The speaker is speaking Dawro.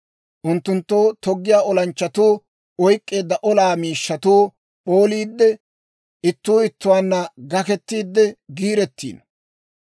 Unttunttu toggiyaa olanchchatuu oyk'k'eedda olaa miishshatuu p'ooliidde, ittuu ittuwaanna gakketiide giirettiino.